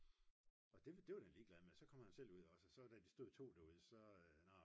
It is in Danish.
og det var den ligelad med så kom han selv ud også da de stod 2 derude så